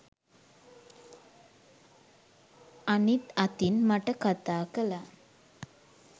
අනිත් අතින් මට කතා කළා